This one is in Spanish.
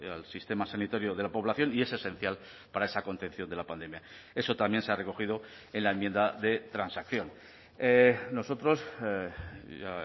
al sistema sanitario de la población y es esencial para esa contención de la pandemia eso también se ha recogido en la enmienda de transacción nosotros ya